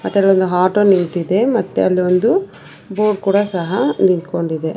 ಅದರಲ್ಲಿ ಆಟೋ ನಿಂತಿದೆ ಮತ್ತೆ ಅಲ್ಲೊಂದು ಬೋರ್ಡ್ ಕೂಡಾ ಸಹ ನಿತ್ಕೊಂಡಿದೆ.